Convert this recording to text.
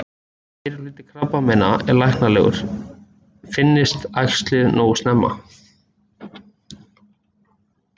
Meirihluti krabbameina er læknanlegur, finnist æxlið nógu snemma.